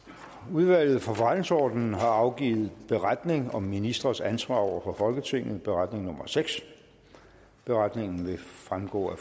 udvalget for forretningsordenen har afgivet beretning om ministres ansvar over for folketinget beretningen beretningen vil fremgå af